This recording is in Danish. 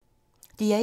DR1